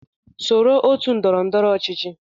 Soro otu ndọrọ ndọrọ ọchịchị